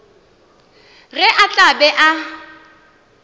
ge a tla be a